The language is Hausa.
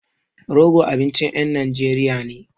Rogo abincin ƴan Najeriya ne.